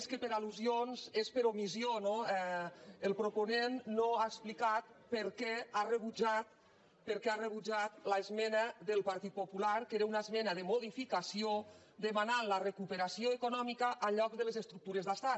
més que per al·lusions és per omissió no el proponent no ha explicat per què ha rebutjat l’esmena del partit popular que era una esmena de modificació demanant la recuperació eco·nòmica en lloc de les estructures d’estat